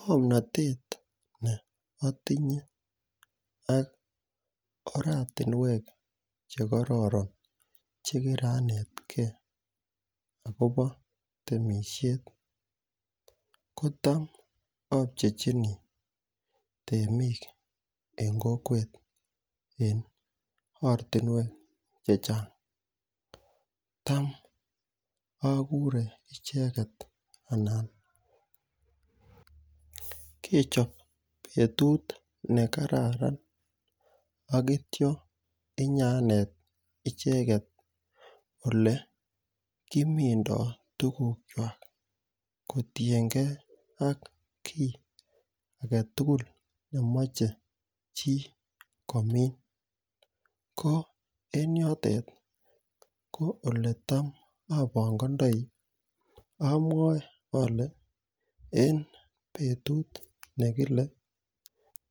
Ngomnotet ne otinye ak oratunwek chekororon chekiranetgee akobo temishet kitam opchechinii temik en kokwet en ortinwek chechang, tam okure icheket anan kechob betut nekararan ak ityo inyanet icheket ole kimimdo tukuk kwak kotiyengee ak kii agetutuk nemoche chii komin. Ko en yotet ko oletam obongoindoi omwoe ole en betut nekile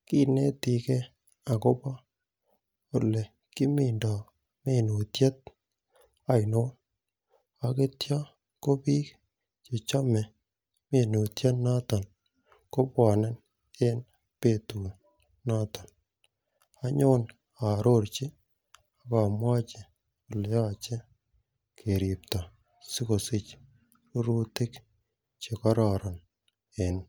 kinetigee akobo ole kimimdo minutyet oinon ak ityo ko bik che chome minutyo noton kobwone en betut noton onyon ororchi ak omwochi oleyoche keripto sikosich rurutik che kororon en imb.